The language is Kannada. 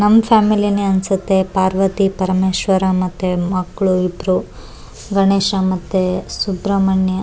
ನಮ್ಮ್ ಫ್ಯಾಮಿಲಿ ನೆ ಒಂದ್ ಸತ್ಯ ಪಾರ್ವತಿ ಪರಮೇಶ್ವರ ಮತ್ತೆ ಮಕ್ಕ್ಳು ಇಬ್ರು ಗಣೇಶ ಮತ್ತೆ ಸುಬ್ರಹ್ಮಣ್ಯ.